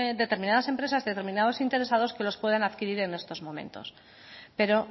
determinadas empresas determinados interesados que los puedan adquirir en estos momentos pero